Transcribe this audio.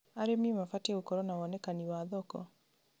Arĩmi mabatiĩ gũkorwo na wonekani wa thoko.